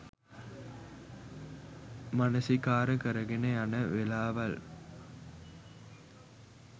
මනසිකාර කරගෙන යන වෙලාවල්